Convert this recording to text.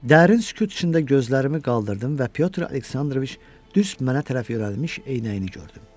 Dərin sükut içində gözlərimi qaldırdım və Pyotr Aleksandroviç düz mənə tərəf yönəlmiş eynəyini gördüm.